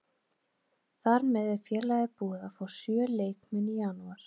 Þar með er félagið búið að fá sjö leikmenn í janúar.